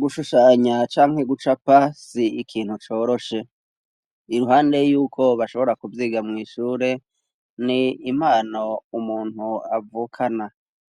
gushushanya cankigucapa si ikintu coroshe iruhande yuko bashobora kubyiga mu ishure ni impano umuntu avukana